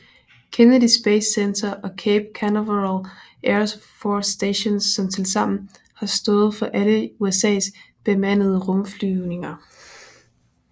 Kennedy Space Center og Cape Canaveral Air Force Station som tilsammen har stået for alle USAs bemandede rumflyvninger